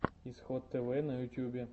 исход тв на ютьюбе